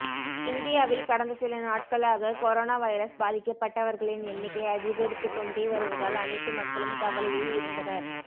இந்தியாவில் கடந்த சில நாட்களாக கொரோனா வைரஸ் பாதிக்கப்பட்டவர்களின் எண்ணிக்கை அதிகரித்துக்கொண்டே வருவதால் அனைத்து மக்களும் கவலையில் இருந்தனர்